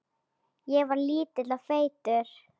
Ég var lítill og feitur.